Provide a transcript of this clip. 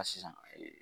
A sisan ee